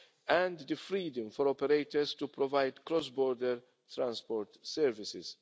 and the freedom for operators to provide cross border transport services.